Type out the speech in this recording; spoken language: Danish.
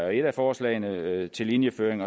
er et af forslagene til linjeføring